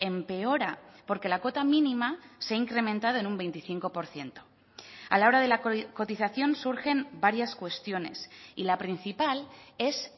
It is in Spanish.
empeora porque la cuota mínima se ha incrementado en un veinticinco por ciento a la hora de la cotización surgen varias cuestiones y la principal es